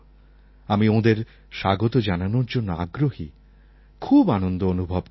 আমি ওঁদের স্বাগত জানানোর জন্য আগ্রহী খুব আনন্দ অনুভব করছি